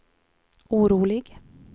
orolig